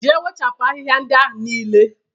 Jee wepụcha ahịhịa ndị ahụ niile!